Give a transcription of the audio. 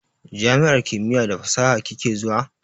Jami'ar kimiya da fasaha kike zuwa?